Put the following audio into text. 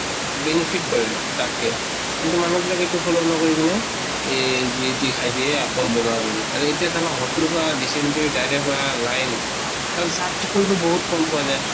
benefit কৰে তাত্কে। কিন্তু মানুহ বিলাকে এইটো follow নকৰি কিনে এহ যি তি খাই দিয়ে। আকৌ বেমাৰ হৈ যায়। আৰু এতিয়া চাবা hospital ত পুৰা dysentery diarrhea হোৱা line | তাত চাফ চিকুন টো বহুত কম পোৱা যায়।